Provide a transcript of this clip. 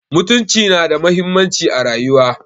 Mutunci nada muhimmanci a rayuwar.